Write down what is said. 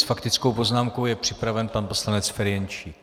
S faktickou poznámkou je připraven pan poslanec Ferjenčík.